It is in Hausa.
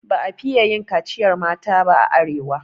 Ba a fiye yin kaciyar mata ba a arewa.